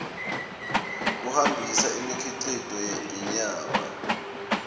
kuhambisa imikhicito yenyama